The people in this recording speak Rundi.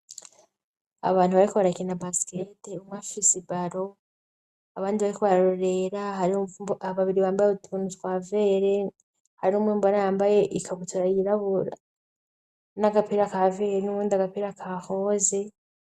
Abantu bariko barakina basikete bafise ibaro abandi bariko bararorera, hari babiri bambaye utuntu twa vere, hari n'umwe mbona yambaye ikabutura yirabura n'agapira ka vere n'uwundi agapira ka roze.